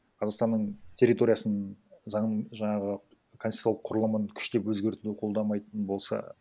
қазақстанның территориясын заң жаңағы коснтитуциялық құрылымын күштеп өзгертуін қолдамайтын болса